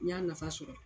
N y'a nafa sɔrɔ